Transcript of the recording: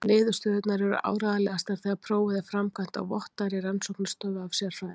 Niðurstöðurnar eru áreiðanlegastar þegar prófið er framkvæmt á vottaðri rannsóknarstofu af sérfræðingum.